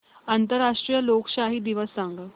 आंतरराष्ट्रीय लोकशाही दिवस सांगा